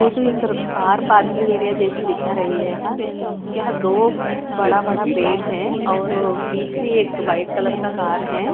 ये तो एक तरफ कार पार्किंग एरिया जेसे दिखा रहा है यहाँ दो बड़ा बड़ा पेड़ है और बिच में एक व्हाईट कलर का कार है।